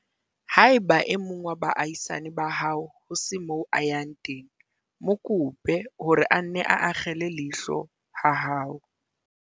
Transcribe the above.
Haeba e mong wa baahisane ba hao ho se moo a yang teng, mo kope hore a nne a akgele leihlo ha hao.